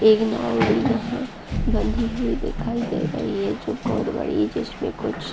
इगनोरी यहाँ बंधी हुई दिखाई दे रही है जो बहुत बड़ी हैं जिसमे कुछ --